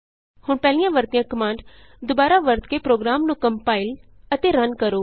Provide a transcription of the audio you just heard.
ਹੁਣ ਪਹਿਲਾਂ ਵਰਤੀਆਂ ਕਮਾਂਡ ਦੁਬਾਰਾ ਵਰਤ ਕੇ ਪ੍ਰੋਗਰਾਮ ਨੂੰ ਕੰਪਾਇਲ ਅਤੇ ਰਨ ਕਰੋ